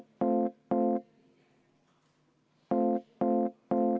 Igati korrektne.